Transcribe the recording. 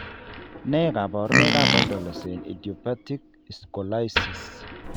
Nee kabarunoikab adolescent idiopathic scoliosis?